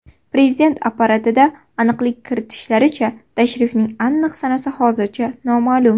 Prezident apparatida aniqlik kiritishlaricha, tashrifning aniq sanasi hozircha noma’lum.